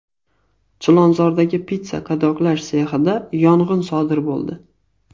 Chilonzordagi pista qadoqlash sexida yong‘in sodir bo‘ldi.